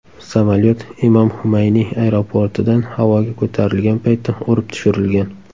Samolyot Imom Humayniy aeroportidan havoga ko‘tarilgan paytda urib tushirilgan.